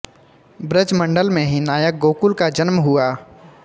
ब्रजमंडल में ही नायक गोकुल का जन्म हुआ